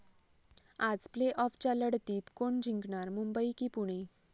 आज प्ले आॅफच्या लढतीत कोण जिंकणार? मुंबई की पुणे?